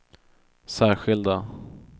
särskilda